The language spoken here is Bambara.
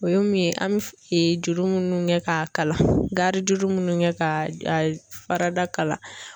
O ye min ye an bɛ juru minnu kɛ k'a kala juru minnu kɛ ka fara da.